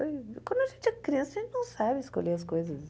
Quando a gente é criança, a gente não sabe escolher as coisas.